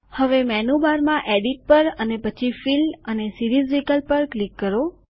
હવે મેનુબારમાં એડિટ પર અને પછી ફિલ અને સીરીઝ વિકલ્પ પર ક્લિક કરો